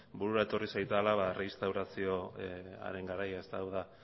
ba burura etorri zaidala erreinstaurazioaren jarraian hau da